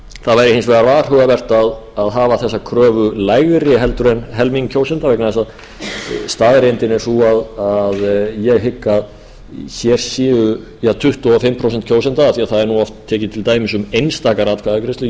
það væri hins vegar varhugavert að hafa þessa kröfu lægri en helming kjósenda vegna þess að staðreyndin er sú að ég ég að hér séu ja tuttugu og fimm prósent kjósenda af því að það er oft tekið til dæmis um einstakar atkvæðagreiðslur